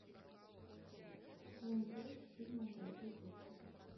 сезон пять фильма дорогой доктор